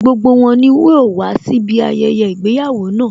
Gbogbo wọn ni yóò wàá síbi ayẹyẹ ìgbéyàwó náà